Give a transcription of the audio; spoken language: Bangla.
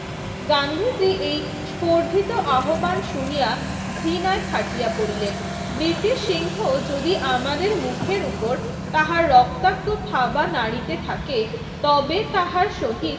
গান্ধীজি এই স্পর্ধিত আহবান শুনিয়া ঘৃণায় ফাটিয়া পড়িলেন। ব্রিটিশ সিংহ যদি আমাদের মুখের উপর তাহার রক্তাক্ত থাবা নাড়িতে থাকে তবে তাহার সহিত